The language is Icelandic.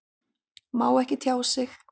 Má ekki tjá sig